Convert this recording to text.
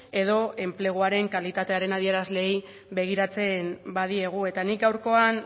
edo enpleguaren kalitatearen adierazleei begiratzen badiegu eta nik gaurkoan